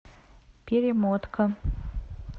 перемотка